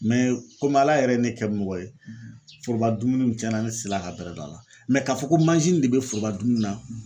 komi Ala yɛrɛ ye ne kɛ mɔgɔ ye foroba dumuni cɛnna ne tɛ se la ka bɛrɛ dun a la k'a fɔ ko de bɛ foroba dumuni na